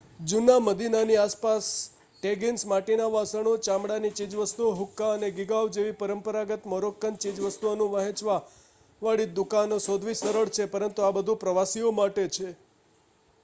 જૂના મદીનાની આસપાસ ટેગીન્સ માટીના વાસણો ચામડાની ચીજવસ્તુઓ હુક્કા અને ગીગાવ જેવી પરંપરાગત મોરોક્કન ચીજવસ્તુઓનું વહેંચવા વાળી દુકાન શોધવી સરળ છે પરંતુ આ બધુ પ્રવાસીઓ માટે છે